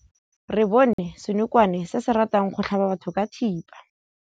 Re bone senokwane se se ratang go tlhaba batho ka thipa.